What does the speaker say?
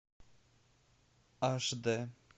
аш д